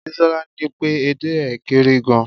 bisola ni pe ede é kere gan